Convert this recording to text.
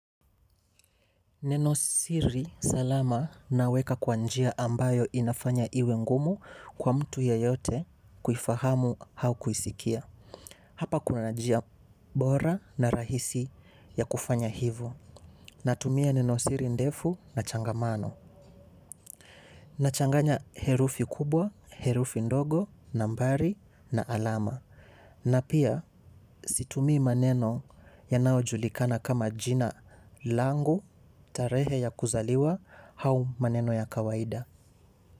Nenosiri salama naweka kwa njia ambayo inafanya iwe ngumu kwa mtu yeyote kuifahamu au kuisikia. Hapa kuna njia bora na rahisi ya kufanya hivo. Natumia nenosiri ndefu na changamano. Nachanganya herufi kubwa herufi ndogo nambari na alama na pia situmii maneno yanayojulikana kama jina langu tarehe ys kuzaliwa au maneno ya kawaida.